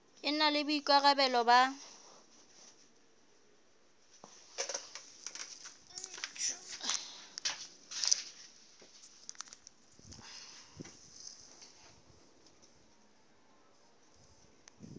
e na le boikarabelo ba